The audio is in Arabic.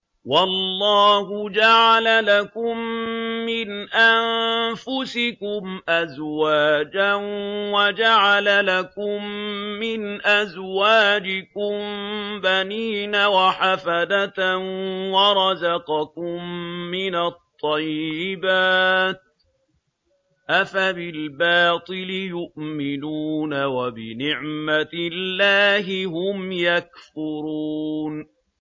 وَاللَّهُ جَعَلَ لَكُم مِّنْ أَنفُسِكُمْ أَزْوَاجًا وَجَعَلَ لَكُم مِّنْ أَزْوَاجِكُم بَنِينَ وَحَفَدَةً وَرَزَقَكُم مِّنَ الطَّيِّبَاتِ ۚ أَفَبِالْبَاطِلِ يُؤْمِنُونَ وَبِنِعْمَتِ اللَّهِ هُمْ يَكْفُرُونَ